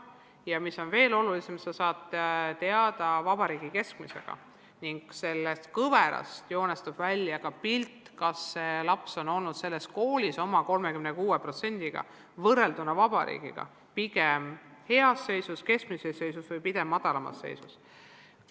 Ja mis veel olulisem: sa saad teada vabariigi keskmise ning sellest kõverast joonistub välja ka pilt, kas sina oled oma 36%-ga võrrelduna vabariigi keskmisega heas seisus, keskmises seisus või pigem kehvas seisus.